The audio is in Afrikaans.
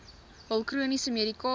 hul chroniese medikasie